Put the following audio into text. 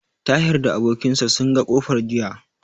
Tahir da abokin sa sun ga kofar jiya.